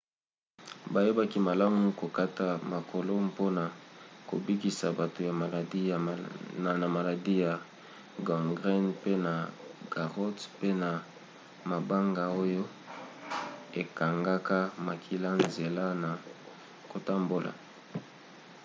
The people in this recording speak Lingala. bayebaki malamu kokata makolo mpona kobikisa bato ya maladi na maladi ya gangrène pe na garrots pe na mabanga oyo ekangaka makila nzela na kotambola